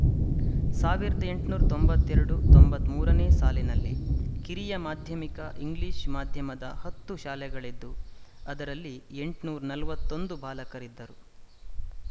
ಸಾವಿರದ ಎಂಟುನೂರ ತೊಂಬತ್ತ್ ಎರಡು ತೊಂಬತ್ತ್ ಮೂರ ನೇ ಸಾಲಿನಲ್ಲಿ ಕಿರಿಯ ಮಾಧ್ಯಮಿಕ ಇಂಗ್ಲಿಶ ಮಾಧ್ಯಮದ ಹತ್ತು ಶಾಲೆಗಳಿದ್ದು ಅದರಲ್ಲಿ ಎಂಟುನೂರ ನಲವತ್ತ್ ಒಂದು ಬಾಲಕರಿದ್ದರು